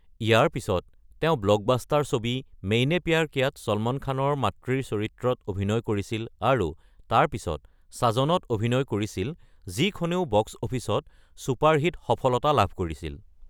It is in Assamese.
ইয়াৰ পিছত তেওঁ ব্লকবাষ্টাৰ ছবি মেইনে প্যাৰ কিয়া-ত ছলমান খানৰ মাতৃৰ চৰিত্ৰত অভিনয় কৰিছিল আৰু তাৰ পিছত সাজন-ত অভিনয় কৰিছিল, যিখনেও বক্স অফিচত ছুপাৰহিট সফলতা লাভ কৰিছিল।